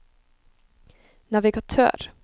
navigatør